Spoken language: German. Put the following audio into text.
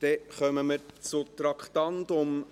Dann kommen wir zum Traktandum 22.